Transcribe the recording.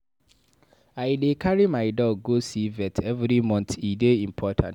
I dey carry my dog go see vet every month, e dey important.